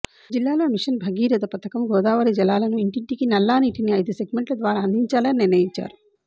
జిల్లాలో మిషన్ భగీరథ పథకం గోదావరి జలాలను ఇంటింటికి నల్లా నీటిని ఐదు సెగ్మెంట్ల ద్వారా అందించాలని నిర్ణయిం చారు